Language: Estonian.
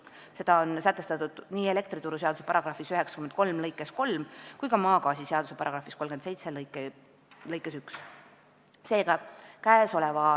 See on sätestatud nii elektrituruseaduse § 93 lõikes 3 kui ka maagaasiseaduse § 37 lõikes 1.